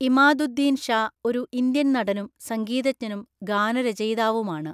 ഇമാദുദ്ദീൻ ഷാ ഒരു ഇന്ത്യൻ നടനും സംഗീതജ്ഞനും ഗാനരചയിതാവുമാണ്.